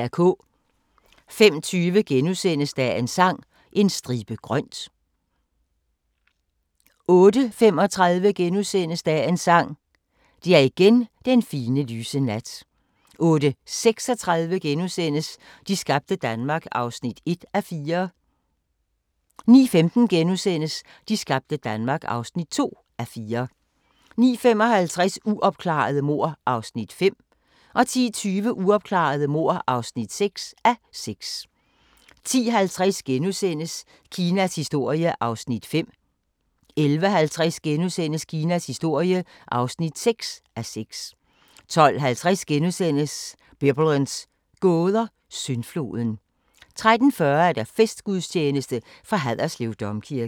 05:20: Dagens Sang: En stribe grønt * 08:35: Dagens Sang: Det er igen den fine, lyse nat * 08:36: De skabte Danmark (1:4)* 09:15: De skabte Danmark (2:4)* 09:55: Uopklarede mord (5:6) 10:20: Uopklarede mord (6:6) 10:50: Kinas historie (5:6)* 11:50: Kinas historie (6:6)* 12:50: Biblens gåder – Syndfloden * 13:40: Festgudstjeneste fra Haderslev Domkirke